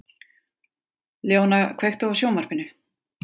Leóna, kveiktu á sjónvarpinu.